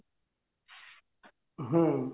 ହୁଁ